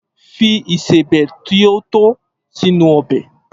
Fi ìsebẹ̀ ti o to sínú ọbẹ́!